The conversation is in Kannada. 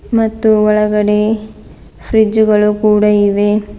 ಮತ್ತು ಒಳಗಡೆ ಫ್ರಿಡ್ಜ್ ಗಳು ಕೂಡ ಇವೆ.